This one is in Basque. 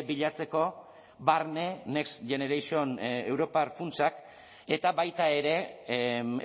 bilatzeko barne next generation europar funtsak eta baita ere